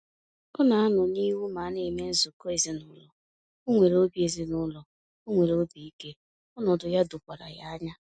Ọ na anọ n'ihu ma ana eme nzukọ ezinaụlọ, onwere obi ezinaụlọ, onwere obi ike, ọnọdụ ya dokwara ya anya